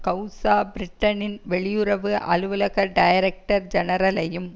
கெளசா பிரிட்டனின் வெளியுறவு அலுவலக டைரக்டர் ஜெனரலையும்